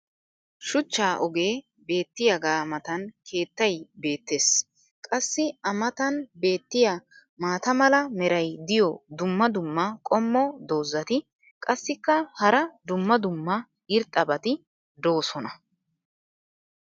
shuchcha ogee beetiyaaaga matan keettay beetees. qassi a matan beetiya maata mala meray diyo dumma dumma qommo dozzati qassikka hara dumma dumma irxxabati doosona.